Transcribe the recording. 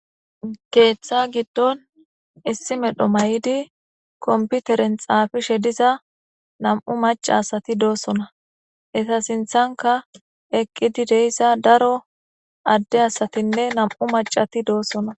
Keeththa giddon issi medho may'di komputeren xaafishe diza nam'u mac'a asati doosona. Esa sinthanka eqqidi deyssa daro adde asatinne nam'u mac'ati doossona.